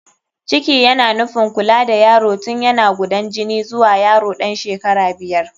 Ciki yana nufin kula da yaro tun yana gudan jini zuwa yaro ɗan shekara biyar.